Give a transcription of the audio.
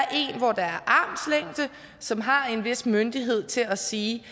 som har en vis myndighed til at sige